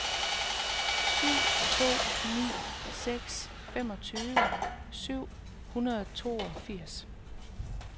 syv to ni seks femogtyve syv hundrede og toogfirs